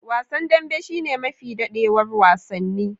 Wasan dambe shine mafi dadewar wasanni.